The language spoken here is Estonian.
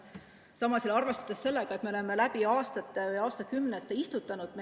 Samas tuleb arvestada, et me oleme juba aastakümneid metsa istutanud.